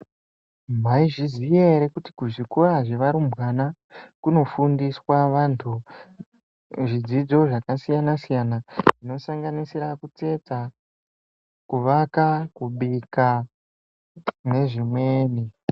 Maizviziya ere kuti kuzvikora zvevarumbwana kunofundiswa vantu zvidzidzo zvakasiyana siyana zvinosanganisira kutsetsa, kuwaka, kubika nezvimweni.